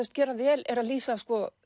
gera vel er að lýsa